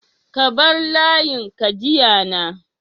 ka bar layin ka jiya na